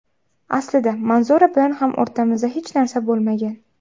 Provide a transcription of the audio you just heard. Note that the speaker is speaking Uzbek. Aslida Manzura bilan ham o‘rtamizda hech narsa bo‘lmagan.